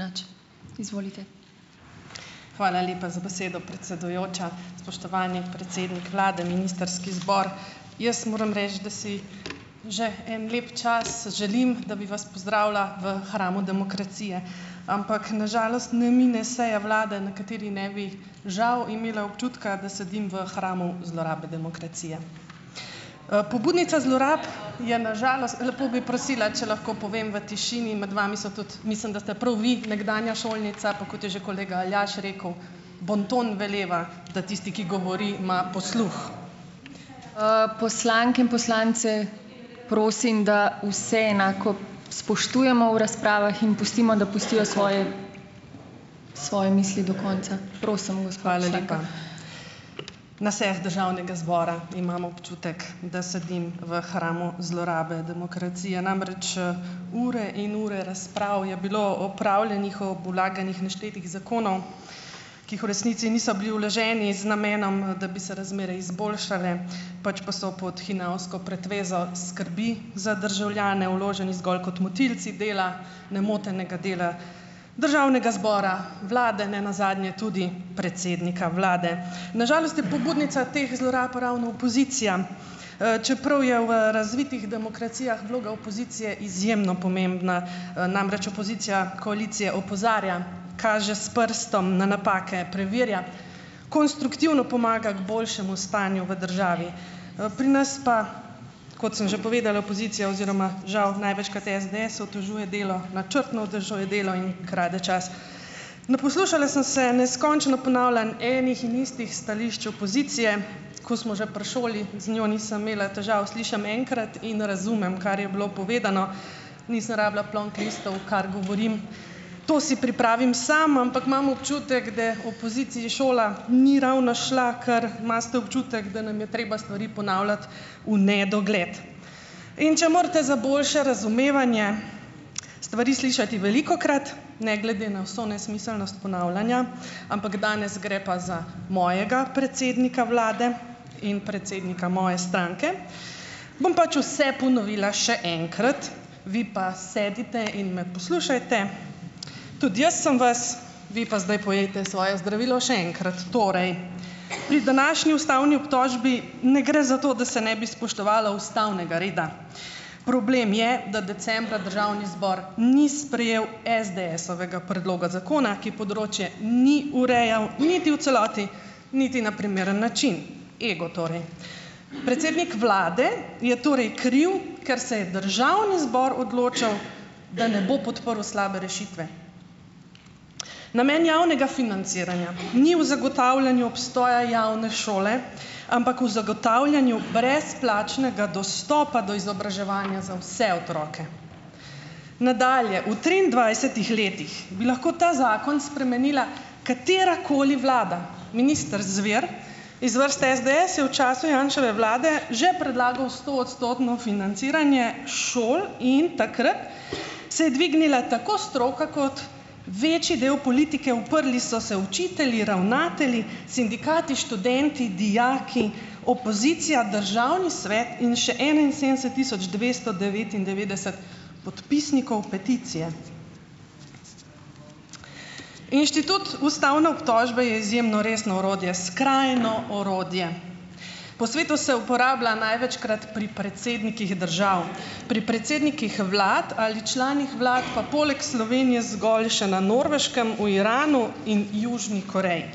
Hvala lepa za besedo, predsedujoča. Spoštovani predsednik vlade, ministrski zbor! Jaz moram reči, da si že en lep čas želim, da bi vas pozdravila v hramu demokracije, ampak na žalost ne mine seja vlade. na kateri ne bi žal imela občutka, da sedim v hramu zlorabe demokracije. Po budnica zlorab je na žalost lepo bi prosila, če lahko povem v tišini in med vami so tudi, mislim, da ste prav vi nekdanja šolnica, pa kot je že kolega Aljaž rekel: "Bonton veleva, da tisti, ki govori, ima posluh." poslanke in poslance prosim, da vse enako spoštujemo v razpravah in pustimo, da pustijo svoje, svoje misli do konca. Na sejah državnega zbora imam občutek, da sedim v hramu zlorabe demokracije, namreč, ure in ure razprav je bilo opravljenih ob vlaganjih neštetih zakonov, ki jih v resnici niso bili vloženi z namenom, da bi se razmere izboljšale, pač pa so pod hinavsko pretvezo skrbi za državljane vloženi zgolj kot motilci dela nemotenega dela državnega zbora, vlade, nenazadnje tudi predsednika vlade. Na žalost je pobudnica teh zlorab ravno opozicija, čeprav je v razvitih demokracijah vloga opozicije izjemno pomembna. Namreč, opozicija koalicije opozarja, kaže s prstom na napake, preverja, konstruktivno pomaga k boljšemu stanju v državi, pri nas pa, kot sem že povedala, opozicija oziroma žal največkrat SDS otežuje delo, načrtno otežuje delo in krade čas. Naposlušala sem se neskončno ponavljanj enih in istih stališč opozicije, ko smo že pri šoli, z njo nisem imela težav, slišim enkrat in razumem, kar je bilo povedano, nisem rabila plonk listov, kar govorim, to si pripravim sam, ampak imam občutek, da opoziciji šola ni ravno šla, ker imate občutek, da nam je treba stvari ponavljati v nedogled. In če morate za boljše razumevanje stvari slišati velikokrat, ne glede na vso nesmiselnost ponavljanja, ampak danes gre pa za mojega predsednika vlade in predsednika moje stranke, bom pač vse ponovila še enkrat, vi pa sedite in me poslušajte, tudi jaz sem vas, vi pa zdaj pojejte svoje zdravilo še enkrat. Torej, pri današnji ustavni obtožbi ne gre za to, da se ne bi spoštovalo ustavnega reda. Problem je, da decembra državni zbor ni sprejel SDS-ovega predloga zakona, ki področje ni urejal, niti v celoti, niti na primeren način. Ego torej. Predsednik vlade je torej kriv, ker se je državni zbor odločal, da ne bo podprl slabe rešitve. Namen javnega financiranja ni v zagotavljanju obstoja javne šole, ampak v zagotavljanju brezplačnega dostopa do izobraževanja za vse otroke. Nadalje, v triindvajsetih letih bi lahko ta zakon spremenila katerakoli vlada. Minister Zver iz vrste SDS je v času Janševe vlade že predlagal stoodstotno financiranje šol in takrat se je dvignila tako stroka, kot večji del politike. Uprli so se učitelji, ravnatelji, sindikati, študenti, dijaki, opozicija, državni svet in še enainsedemdeset tisoč dvesto devetindevetdeset podpisnikov peticije. Inštitut ustavne obtožbe je izjemno resno orodje. Skrajno orodje. Po svetu se uporablja največkrat pri predsednikih držav, pri predsednikih vlad ali članih vlad, pa poleg Slovenije zgolj še na Norveškem, v Iranu in Južni Koreji.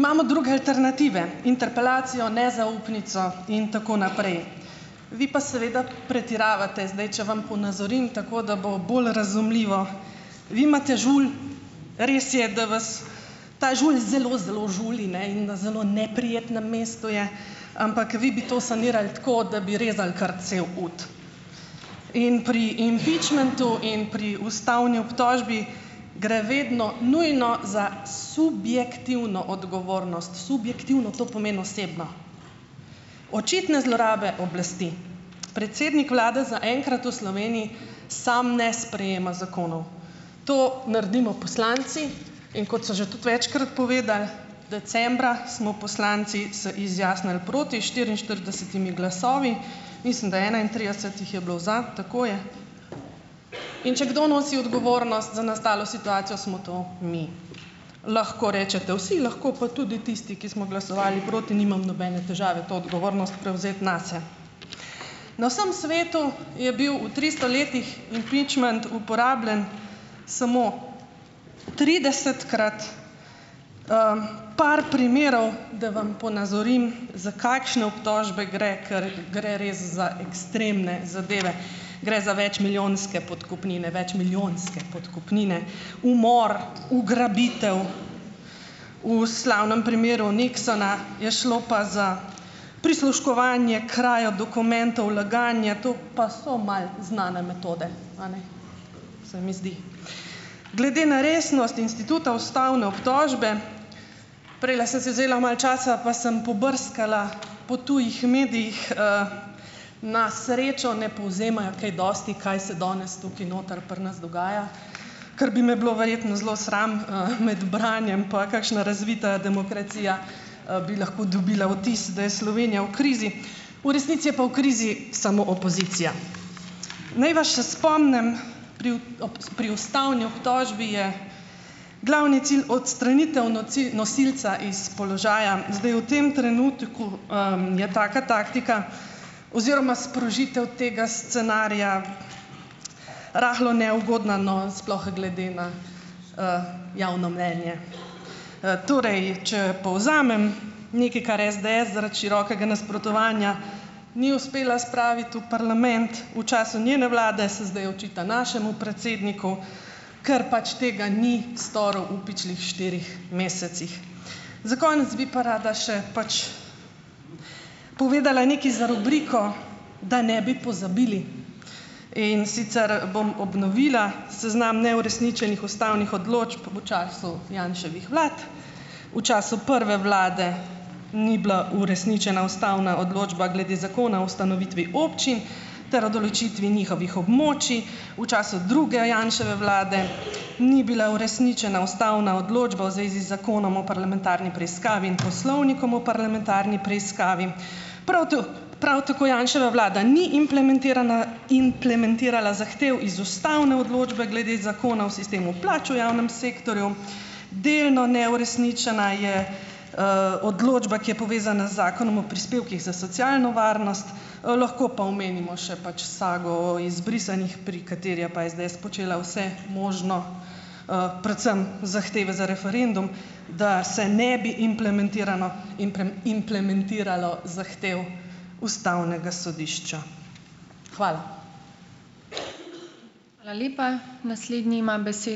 Imamo druge alternative: interpelacijo, nezaupnico in tako naprej. Vi pa seveda pretiravate. Zdaj če vam ponazorim, tako da bo bolj razumljivo. Vi imate žulj, res je, da vas ta žulj zelo zelo žuli, ne, in na zelo neprijetnem mestu je, ampak vi bi to sanirali tako, da bi rezali kar cel ud. In pri impičmentu in pri ustavni obtožbi gre vedno nujno za subjektivno odgovornost. Subjektivno, to pomeni osebno. Očitne zlorabe oblasti. Predsednik vlade zaenkrat v Sloveniji sam ne sprejema zakonov. To naredimo poslanci. In kot so že tudi večkrat povedali, decembra smo poslanci se izjasnili proti štiriinštiridesetimi glasovi, mislim, da enaintrideset jih je bilo za, tako je. In če kdo nosi odgovornost za nastalo situacijo, smo to mi. Lahko rečete vsi, lahko pa tudi tisti, ki smo glasovali proti, nimam nobene težave to odgovornost prevzeti nase. Na vsem svetu je bil v tristo letih impičment uporabljan samo tridesetkrat. Par primerov, da vam ponazorim, za kakšne obtožbe gre, kar gre res za ekstremne zadeve. Gre za večmilijonske podkupnine, večmilijonske podkupnine, umor, ugrabitev, v slavnem primeru Nixona je šlo pa za prisluškovanje, krajo dokumentov, laganje, to pa so malo znane metode, a ne? Se mi zdi. Glede na resnost instituta ustavne obtožbe, prejle sem si vzela malo časa, pa sem pobrskala po tujih medijih, na srečo ne povzemajo kaj dosti, kaj se danes tukaj noter pri nas dogaja, kar bi me bilo verjetno zelo sram, med branjem, pa kakšna razvita demokracija, bi lahko dobila vtis, da je Slovenija v krizi. V resnici je pa v krizi samo opozicija. Naj vas še spomnim, pri pri ustavni obtožbi je glavni cilj odstranitev nosilca iz položaja. Zdaj v tem trenutku, je taka taktika oziroma sprožitev tega scenarija, rahlo neugodna, no, sploh glede na, javno mnenje. Torej, če povzamem, nekaj, kar SDS zaradi širokega nasprotovanja ni uspela spraviti v parlament v času njene vlade, se zdaj očita našemu predsedniku, ker pač tega ni storil v pičlih štirih mesecih. Za konec bi pa rada še pač povedala nekaj za rubriko Da ne bi pozabili, in sicer bom obnovila seznam neuresničenih ustavnih odločb v času Janševih vlad, v času prve vlade ni bila uresničena ustavna odločba glede zakona o ustanovitvi občin ter o določitvi njihovih območij, v času druge Janševe vlade ni bila uresničena ustavna odločba v zvezi z Zakonom o parlamentarni preiskavi in Poslovnikom o parlamentarni preiskavi, prav prav tako Janševa vlada ni implementirala zahtev iz ustavne odločbe glede Zakona o sistemu plač v javnem sektorju, delno neuresničena je, odločba, ki je povezana z Zakonom o prispevkih za socialno varnost. Lahko pa omenimo še pač sago o izbrisanih, pri kateri je pa SDS počela vse možno, predvsem zahteve za referendum, da se ne bi implementirano implementiralo zahtev ustavnega sodišča. Hvala.